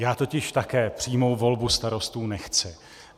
Já totiž také přímou volbu starostů nechci.